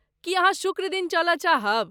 की अहाँ शुक्र दिन चलय चाहब?